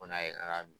Ko n'a ye